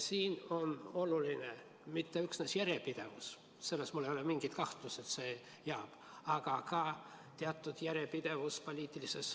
Siin on oluline mitte üksnes järjepidevus – mul ei ole mingit kahtlust, et see jääb –, vaid ka teatud järjepidevus poliitilises